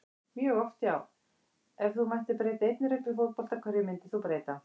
mjög oft já Ef þú mættir breyta einni reglu í fótbolta, hverju myndir þú breyta?